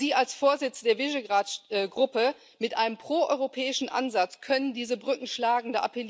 Sie als Vorsitzender der Visegrád Gruppe mit einem proeuropäischen Ansatz können diese Brücken schlagen